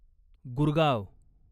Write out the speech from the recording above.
Gurgaon